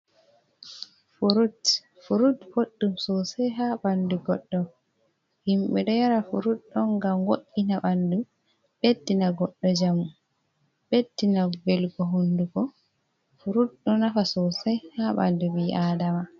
Furut, furut boɗɗum sosai ha ɓandu goɗɗo, himɓe ɗo yara furud on ngam wo'ina ɓandu, ɓeddina goɗɗo njamu ɓeddina velgo honduko, furud ɗo nafa sosai ha ɓandu ɓii adama.